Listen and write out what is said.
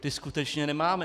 Ty skutečně nemáme.